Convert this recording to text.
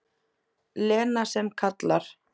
Lena sem kallar.